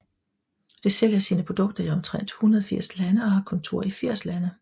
Det sælger sine produkter i omtrent 180 lande og har kontor i 80 lande